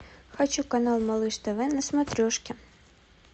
хочу канал малыш тв на смотрешке